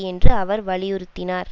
என்று அவர் வலியுறுத்தினார்